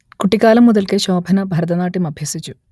കുട്ടിക്കാലം മുതൽക്കേ ശോഭന ഭരതനാട്യം അഭ്യസിച്ചു